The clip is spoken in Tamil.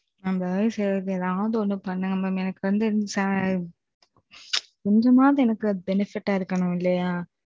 அத தான் சொல்றேன் எதாவது ஒன்னு பண்ணுங்க mam. எனக்கு வந்து. கோஜமாவது எனக்கு benefitஆ இருக்கணும் இல்லியா.